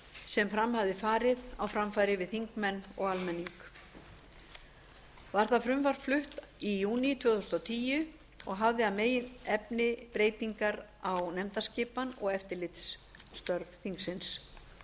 sem fram hafði farið á framfæri við þingmenn og almenning var það frumvarp flutt í júní tvö þúsund og tíu og hafði að meginefni breytingar á nefndaskipan og eftirlitstörf þingsins